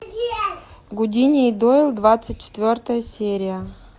гудини и дойл двадцать четвертая серия